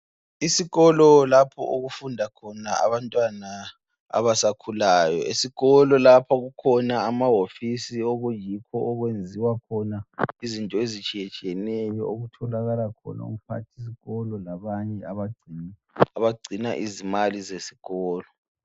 Isikolo lapho okufunda khona abantwana abasakhulayo, esikolo lapha kukhona amawofisi lapho okuyikho okwenziwa khona izinto ezitshiyetshiyeneyo okutholakala khona umphathisikolo labanye abagcina izimali zesikolo.